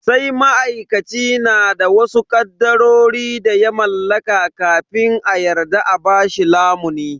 Sai ma'aikaci na da wasu kadarori da ya mallaka kafin a yarda a bashi lamuni.